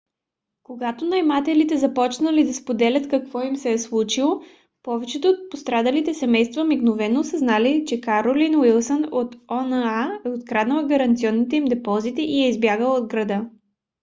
когато наемателите започнали да споделят какво им се е случило повечето от пострадалите семейства мигновено осъзнали че каролин уилсън от oha е откраднала гаранционните им депозити и е избягала от града